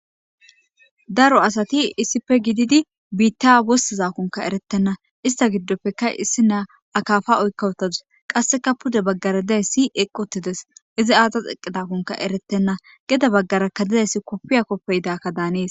Daro asati issippe gidid biita wostizako eretena , ista gidoppeka isinya akafa oyka utadusi, qaseka pude bagara dizaysi eqi utidesi , izi aazasi eqidakonka eretena , gede bagaraka gizays kofiya kofiyidaka danesi.